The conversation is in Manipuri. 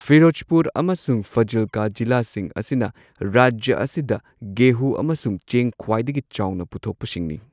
ꯐꯤꯔꯣꯖꯄꯨꯔ ꯑꯃꯁꯨꯡ ꯐꯥꯖꯤꯜꯀꯥ ꯖꯤꯂꯥꯁꯤꯡ ꯑꯁꯤꯅ ꯔꯥꯖ꯭ꯌꯥ ꯑꯁꯤꯗ ꯒꯦꯍꯨ ꯑꯃꯁꯨꯡ ꯆꯦꯡ ꯈ꯭ꯋꯥꯏꯗꯒꯤ ꯆꯥꯎꯅ ꯄꯨꯊꯣꯛꯄꯁꯤꯡꯅꯤ꯫